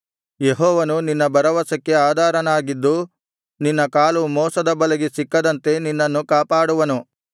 ಯೆಹೋವನು ನಿನ್ನ ಭರವಸಕ್ಕೆ ಆಧಾರನಾಗಿದ್ದು ನಿನ್ನ ಕಾಲು ಮೋಸದ ಬಲೆಗೆ ಸಿಕ್ಕದಂತೆ ನಿನ್ನನ್ನು ಕಾಪಾಡುವನು